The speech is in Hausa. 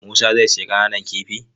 Musa zai sayi ƙananan kifin?